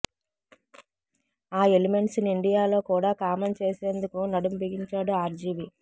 ఆ ఎలిమెంట్స్ ని ఇండియాలో కూడా కామన్ చేసేందుకు నడూం బిగించాడు ఆర్జీవి